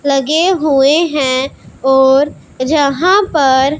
लगे हुए हैं और यहां पर--